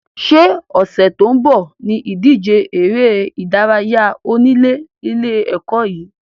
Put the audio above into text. Sé ọ̀sẹ̀ tó ń bọ̀ ní ìdíje eré ìdárayá onílé ilé ẹ̀kọ́ yín?